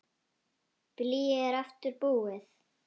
Blýið er aftur búið.